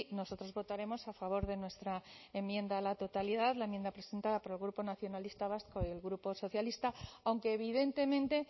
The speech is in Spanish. nosotros votaremos a favor de nuestra enmienda a la totalidad la enmienda presentada por el grupo nacionalista vasco y el grupo socialista aunque evidentemente